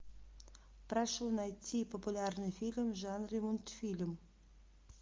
прошу найти популярный фильм в жанре мультфильм